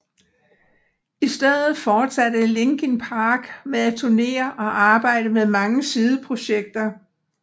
I stedet fortsatte Linkin Park med at turnere og arbejde med mange sideprojekter